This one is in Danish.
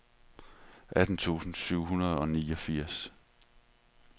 atten tusind syv hundrede og niogfirs